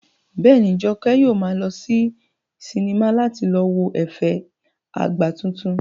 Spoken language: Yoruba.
Bẹ́ẹ̀ni, Jọkẹ́ yóò maa lọ sí sinimá láti lọ wo ẹ̀fẹ̀ ìyá àgbà titun